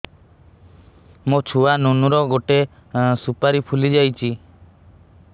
ମୋ ଛୁଆ ନୁନୁ ର ଗଟେ ସୁପାରୀ ଫୁଲି ଯାଇଛି